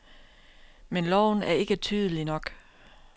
Men loven er ikke tydelig nok.